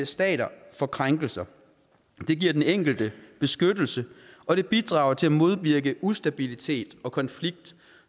stater for krænkelser det giver den enkelte beskyttelse og det bidrager til at modvirke ustabilitet og konflikt